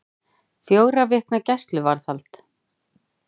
Fjögurra vikna gæsluvarðhald